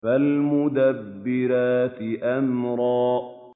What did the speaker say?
فَالْمُدَبِّرَاتِ أَمْرًا